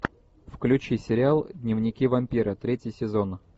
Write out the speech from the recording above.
включи сериал дневники вампира третий сезон